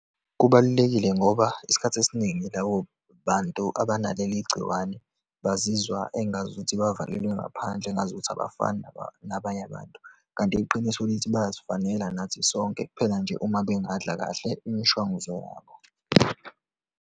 Kubalulekile ngoba isikhathi esiningi labo bantu abanaleligciwane, bazizwa engazuthi bavalelwe ngaphandle, engazuthi abafani nabanye abantu. Kanti iqiniso lithi bayazifanela nathi sonke, kuphela nje uma bengadla kahle imishwanguzo yabo.